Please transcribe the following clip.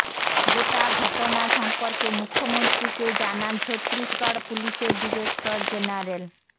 গোটা ঘটনা সম্পর্কে মুখ্যমন্ত্রীকে জানান ছত্তিশগড় পুলিশের ডিরেক্টর জেনারেল